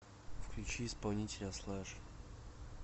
включи исполнителя слэш